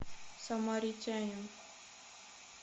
самаритянин